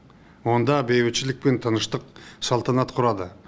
онда бейбітшілік пен тыныштық салтанат құрады